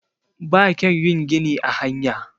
ba kyau yin gini a hanya